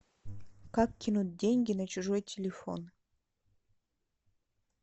как кинуть деньги на чужой телефон